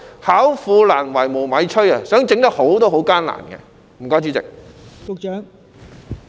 巧婦難為無米炊，即使他們想做得好也是很艱難的。